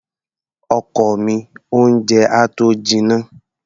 Ọkọ mi, oúnjẹ á tó jinná.